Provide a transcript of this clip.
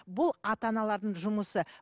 бұл ата аналардың жұмысы